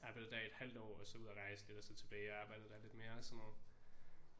Arbejdede der i et halvt år og så ud og rejse lidt og så tilbage og arbejdede der lidt mere og sådan noget